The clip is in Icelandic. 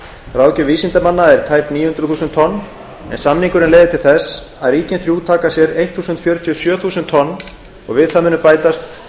ráðgjöf vísindamanna er tæp níu hundruð þúsund tonn en samningurinn leiðir til þess að ríkin þrjú taka sér þúsund fjörutíu og sjö þúsund tonn og við það mun bætast